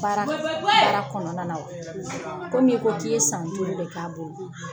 Baara kɔnɔna wa ? Komi i ko k'i ye san duuru de k'a bolo .